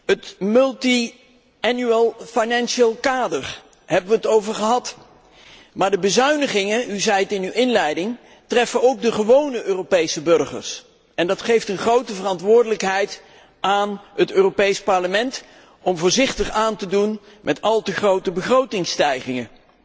Het meerjarig financieel kader, daarover hebben wij het gehad. Maar de bezuinigingen u zei het in uw inleiding treffen ook de gewone Europese burgers en dat geeft een grote verantwoordelijkheid aan het Europees Parlement om voorzichtig aan te doen met al te grote begrotingsstijgingen.